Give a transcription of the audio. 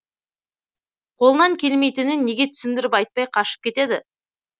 қолынан келмейтінін неге түсіндіріп айтпай қашып кетеді